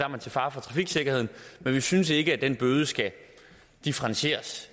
man til fare for trafiksikkerheden men vi synes ikke at den bøde skal differentieres